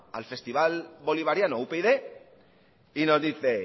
al festival bolivariano upyd y nos dice